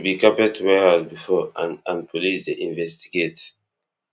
be carpet warehouse before and and police dey investigate